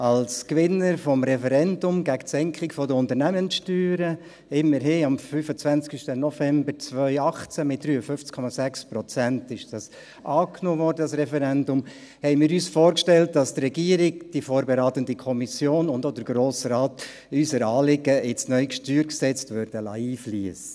Als Gewinner des Referendums gegen die Senkung der Unternehmenssteuern – am 25.11.2018 wurde das Referendum mit immerhin 53,6 Prozent angenommen – haben wir uns vorgestellt, dass die Regierung, die vorberatende Kommission und auch der Grosse Rat unser Anliegen in das neue StG einfliessen lassen würden.